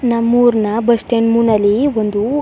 ನಮ್ಮೂರ್ ನಾ bus stand ಮೂನಲ್ಲಿ ಒಂದು.